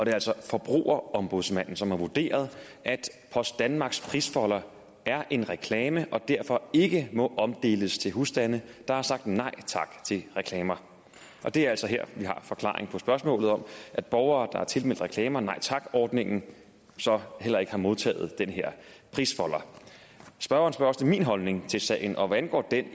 er altså forbrugerombudsmanden som har vurderet at post danmarks prisfolder er en reklame og derfor ikke må omdeles til husstande der har sagt nej tak til reklamer og det er altså her vi har forklaringen på spørgsmålet om at borgere der er tilmeldt reklamer nej tak ordningen så heller ikke har modtaget den her prisfolder spørgeren spørger også til min holdning til sagen og hvad angår den